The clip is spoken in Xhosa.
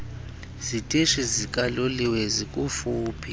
zitishi zikaloliwe zikufuphi